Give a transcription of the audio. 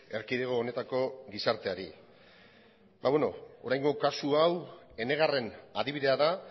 erkidego honetako gizarteari ba beno oraingo kasu hau enegarren adibidea da